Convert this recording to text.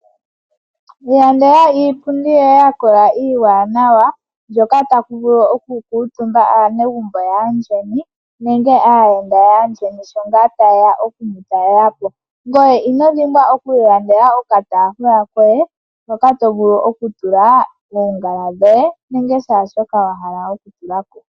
Iilandela iipundi yoye ya kola iiwanawa hoka taku vulu oku kuutumba aanegumbo yaayeni nenge aayenda yaayeni sho taye ya oku mutalela po, ngoye inodhimbwa okwiilandela okataafula koye hoka to vulu oku tula oongala dhoye nenge kehe shoka to vulu okutula ko.